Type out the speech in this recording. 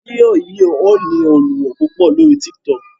Fidio yí yíò ní olùwo púpọ lórí TikTok